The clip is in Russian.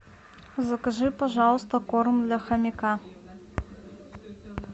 закажи пожалуйста корм для хомяка